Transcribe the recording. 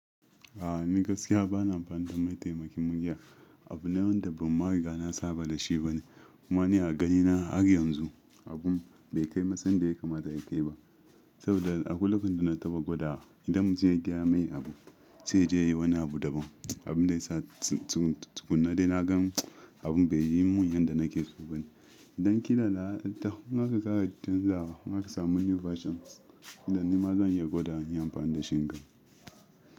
A'a ni gaskiya bana amfani da ma mataimakin murya. Abu ne wanda ban ma riga na saba da shi bane. Kuma ni a ganina har yanzu abun bai kai matsayin da ya kamata ya kai ba. Saboda akwai lokacin da na taɓa gwadawa idan mutum ya gaya mai abu sai yaje yayi wani abu daban. Abun da ya sa tukunna dai na gan abun bai yi mun yanda nake so bane. Idan ki na da in taho nima in tayaki juyawa in aka samu new versions, inda nima zan iya gwada in yi amfani da shi inga.